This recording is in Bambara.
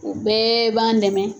U bɛɛ ban dɛmɛ.